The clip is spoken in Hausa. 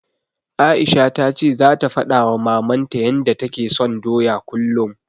Aisha ta ce zata faɗawa Mamanta yanda take son doya kullum.